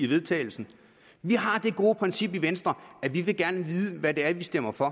vedtagelse vi har det gode princip i venstre at vi gerne vil vide hvad det er vi stemmer for